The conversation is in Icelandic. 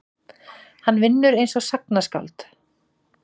Hann vinnur einsog sagnaskáld.